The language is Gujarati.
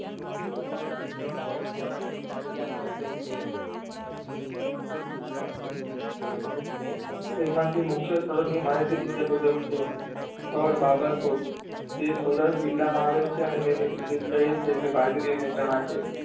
તેમાંથી મુખય સ્થળો ની માહિતી નીચે મુજબ છે. સ્થળ બાબર કોટ. તે સૌરાસ્ટ્ર જીલામાં આવેલ છે અને તેની વિષ્ટતા એ છે કે બાજરી અને ચણા છે.